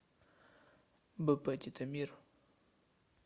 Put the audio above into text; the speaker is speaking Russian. бп титомир